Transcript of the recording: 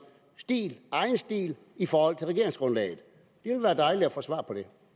egen stil i forhold til regeringsgrundlaget det vil være dejligt at få svar